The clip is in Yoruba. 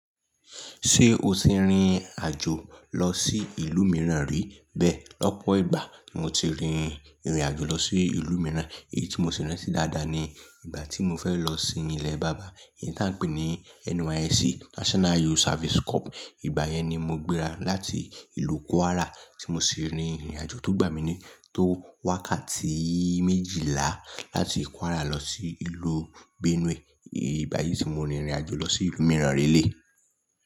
Ṣé o ti rin àjò lọ sí ìlú mìíràn rí? Bẹ́ẹ̀, lọ́pọ̀ ìgbà ni mo ti rin ìrìn àjò lọ sí ìlú mìíràn, èyí tí mo sì rántí dáadáa ni ìgbà tí mo fẹ́ lọ sínú ilẹ bàbá, èyí tí à ń pè ní NYSC National Youth Service Corps. Ìgbà yẹn ni mo gbéra láti ìlú Kwara tí mo sì rin ìrìn àjò tó gbà mí ní tó wákàtí méjìlá láti Kwara lọ sí ìlú Benue. Ìgbà yìí tí mo rin ìrìn àjò lọ sí ìlú mìíràn rí lé.